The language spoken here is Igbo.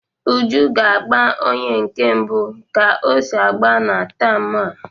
Uju ga-agba onye nke mbụ ka o si agba na taam a.